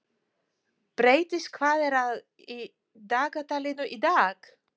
Brestir, hvað er í dagatalinu í dag?